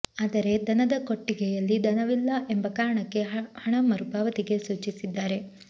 ಆದರೆ ದನದ ಕೊಟ್ಟಿಗೆಯಲ್ಲಿ ದನವಿಲ್ಲ ಎಂಬ ಕಾರಣಕ್ಕೆ ಹಣ ಮರುಪಾವತಿಗೆ ಸೂಚಿಸಿದ್ದಾರೆ